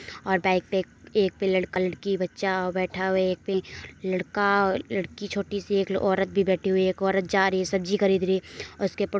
और बाईक पे एक लड़का लड़की बच्चा बैठा हुआ है। एक पे लड़का लड़की छोटी सी एक लो ओरत भी बैठी हुई है। एक औरत जा रही है। सब्जी खरीद रही है और उसके ऊपर --